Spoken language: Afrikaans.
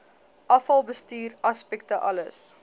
afvalbestuur aspekte alles